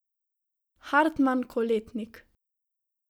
Hartman Koletnik.